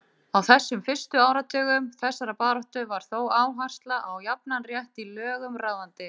Á þessum fyrstu áratugum þessarar baráttu var þó áhersla á jafnan rétt í lögum ráðandi.